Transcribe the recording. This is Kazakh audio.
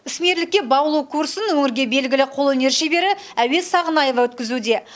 ісмерлікке баулу курсын өңірге белгілі қолөнер шебері әуес сағынаева өткізуде